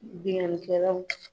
Bingani kɛlaw.